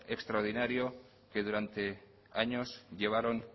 extraordinaria que durante años llevaron